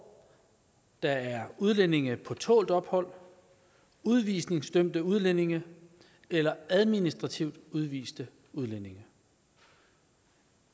der er udlændinge på tålt ophold udvisningsdømte udlændinge eller administrativt udviste udlændinge